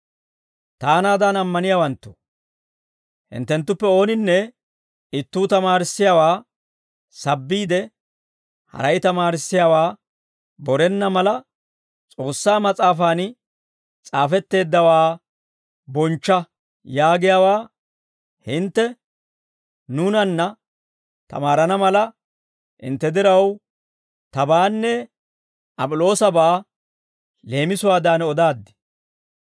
Taanaadan ammaniyaawanttoo, hinttenttuppe ooninne ittuu tamaarissiyaawaa sabbiide, haray tamaarissiyaawaa borenna mala, «S'oossaa mas'aafan s'aafetteeddawaa bonchcha» yaagiyaawaa hintte nuunanna tamaarana mala, hintte diraw, tabaanne Ap'iloosabaa leemisuwaadan odaaddi.